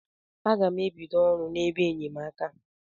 A ga m e bido ọrụ n'ebe enyemaka.